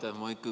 Aitäh!